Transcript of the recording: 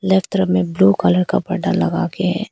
Left तरफ में blue colour का पर्दा लगा के है।